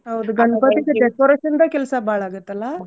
ಹೌದು ಗಣ್ಪತಿದು decoration ದ ಕೆಲ್ಸ ಬಾಳ್ ಆಗುತ್ತಲ್ಲ.